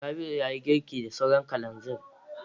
Rabi'u ya yi girki da sauran kalanzir.